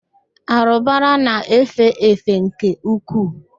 Árụ̀bara na-efe efe nke ukwuu.